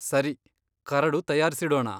ಸರಿ, ಕರಡು ತಯಾರ್ಸಿಡೋಣ.